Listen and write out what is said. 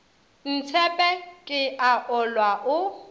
ntshepe ke a olwa o